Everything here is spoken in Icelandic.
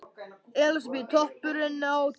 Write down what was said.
Elísabet: Toppurinn á tilverunni?